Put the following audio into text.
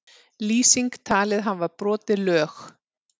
Lýsing talin hafa brotið lög